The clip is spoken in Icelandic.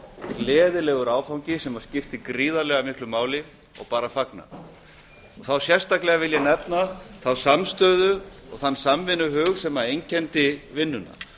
gleðilegur áfangi sem skipti gríðarlega miklu máli og bara fagnað þá sérstaklega vil ég nefna þá samstöðu og þann samvinnuhug sem einkenndi vinnuna